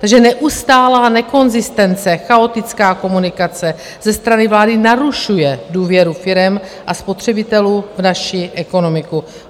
Takže neustálá nekonzistence, chaotická komunikace ze strany vlády narušuje důvěru firem a spotřebitelů v naši ekonomiku.